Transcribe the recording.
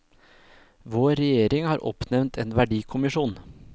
Vår regjering har oppnevnt en verdikommisjon.